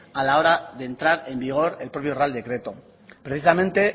a la hora de entrar en vigor el propio real decreto precisamente